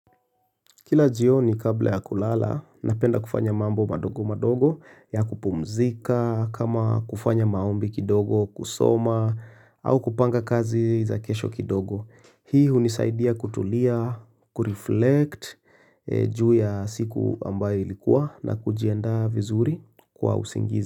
Kila jioni kabla ya kulala, napenda kufanya mambo madogo madogo ya kupumzika, kama kufanya maombi kidogo, kusoma, au kupanga kazi za kesho kidogo. Hii hunisaidia kutulia, kureflect juu ya siku ambayo ilikuwa na kujiandaa vizuri kwa usingizi.